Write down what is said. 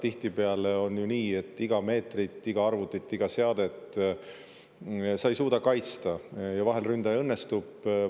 Tihtipeale on ju nii, et iga meetrit, iga arvutit, iga seadet ei suudeta kaitsta, ja vahel ründajal õnnestub.